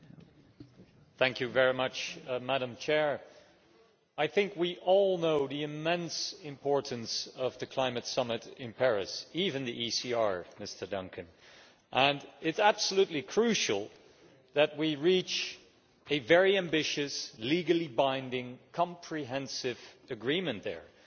Madam President, I think we all know the immense importance of the climate summit in Paris even the ECR, Mr Duncan and it is absolutely crucial that we reach a very ambitious, legally binding, comprehensive agreement there, an agreement that goes beyond